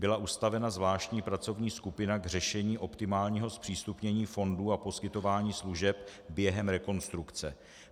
Byla ustavena zvláštní pracovní skupina k řešení optimálního zpřístupnění fondů a poskytování služeb během rekonstrukce.